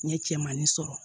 N ye cɛmannin sɔrɔ